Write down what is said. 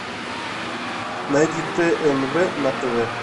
найди тнв на тв